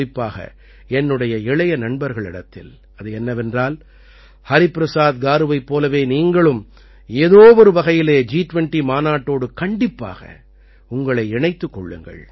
குறிப்பாக என்னுடைய இளைய நண்பர்களிடத்தில் அது என்னவென்றால் ஹரிபிரசாத் காருவைப் போலவே நீங்களும் ஏதோ ஒரு வகையிலே ஜி20 மாநாட்டோடு கண்டிப்பாக உங்களை இணைத்துக் கொள்ளுங்கள்